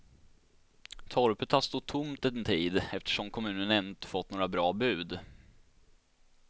Torpet har stått tomt en tid, eftersom kommunen ännu inte fått några bra bud.